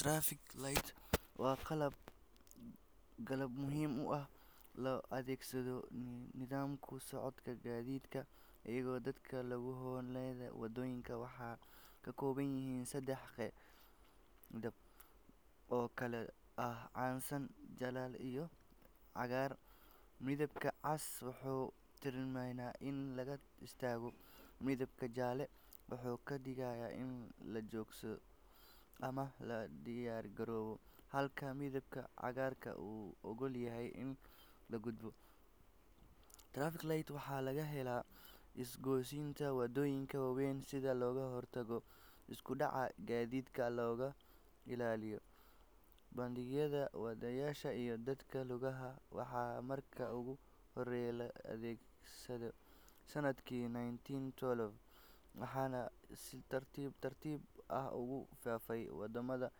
Traffic lights waa qalab muhiim ah oo loo adeegsado nidaaminta socodka gaadiidka iyo dadka lugeynaya waddooyinka. Waxay ka kooban yihiin sadex midab oo kala ah casaan, jaalle iyo cagaar. Midabka cas wuxuu tilmaamayaa in la istaago, midabka jaalle wuxuu ka digayaa in la joogo ama la diyaargaroobo, halka midabka cagaar uu oggol yahay in la gudbo. Traffic lights waxaa laga helaa isgoysyada waddooyinka waaweyn si looga hortago isku dhac gaadiid, loona ilaaliyo badbaadada wadayaasha iyo dadka lugeeya. Waxaa markii ugu horreysay la adeegsaday sanadkii nineteen twelve waxaana si tartiib tartiib ah ugu faafay waddamada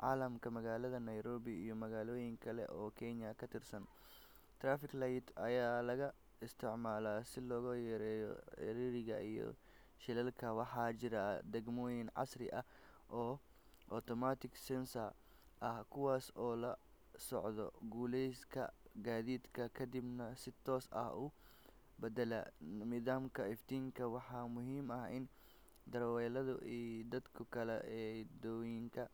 caalamka. Magaalada Nairobi iyo magaalooyin kale oo Kenya ka tirsan, traffic lights ayaa laga isticmaalaa si loo yareeyo ciriiriga iyo shilalka. Waxaa jira nidaamyo casri ah oo automatic sensors ah kuwaas oo la socda culeyska gaadiidka kadibna si toos ah u beddela midabka iftiinka. Waxaa muhiim ah in darawalada iyo dadka kale ee waddooyinka.